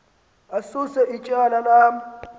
asuse ityala lam